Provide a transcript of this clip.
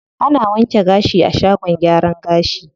Ana wanke gashi a shagon gyaran gashi.